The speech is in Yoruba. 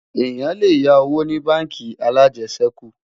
èyán lè yá owó ní bánkì alàjesèkú